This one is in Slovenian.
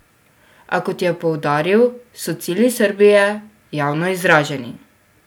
A, kot je poudaril, so cilji Srbije javno izraženi.